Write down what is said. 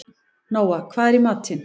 Nóa, hvað er í matinn?